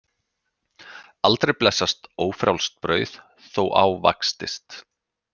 Aldrei blessast ófrjálst brauð þó ávaxtist.